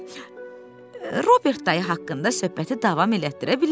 Deməli, Robert dayı haqqında söhbəti davam elətdirə bilərik.